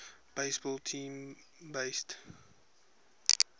baseball team based